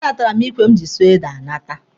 A natara m ikwe m ji sụọ ede anata.